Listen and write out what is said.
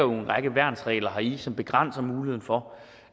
række værnsregler heri som begrænser muligheden for